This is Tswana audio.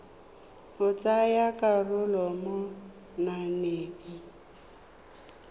go tsaya karolo mo mananeng